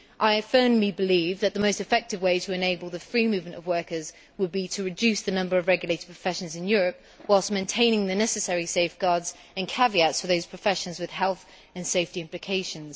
I firmly believe that the most effective way to enable the free movement of workers would be to reduce the number of regulated professions in Europe, whilst maintaining the necessary safeguards and caveats for those professions with health and safety implications.